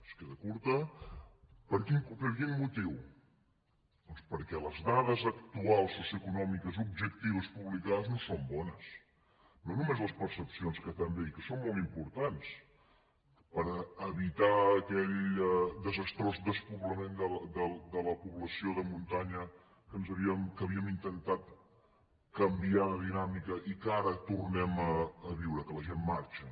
es queda curta per quin motiu doncs perquè les dades actuals socioeconòmiques objectives publicades no són bones no només les percepcions que també i que són molt importants per evitar aquell desastrós despoblament de la població de muntanya que havíem intentat canviar de dinàmica i que ara tornem a viure que la gent marxa